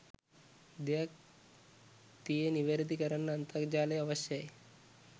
දෙයක් තියේ නිවැරදි කරන්න අන්තර්ජාලය අවශ්‍යයි.